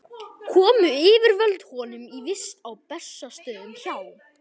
Komu yfirvöld honum í vist á Bessastöðum hjá